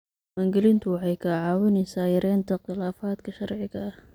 Diiwaangelintu waxay kaa caawinaysaa yaraynta khilaafaadka sharciga ah.